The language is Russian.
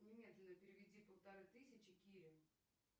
немедленно переведи полторы тысячи кире